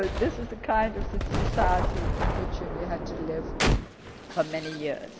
So this is the kind of society in which we had to live for many years.